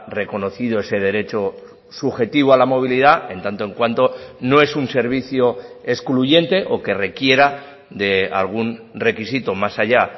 reconocido ese derecho subjetivo a la movilidad en tanto en cuanto no es un servicio excluyente o que requiera de algún requisito más allá